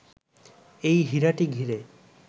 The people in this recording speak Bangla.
এই হীরাটি ঘিরে